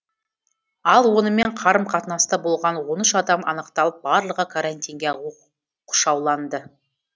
ал онымен қарым қатынаста болған он үш адам анықталып барлығы карантинге оқ шауланды